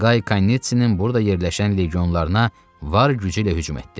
Qay Kanitsinin burda yerləşən legionlarına var gücü ilə hücum etdi.